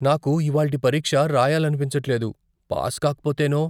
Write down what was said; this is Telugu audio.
నాకు ఇవాల్టి పరీక్ష రాయాలనిపించట్లేదు. పాస్ కాకపోతేనో?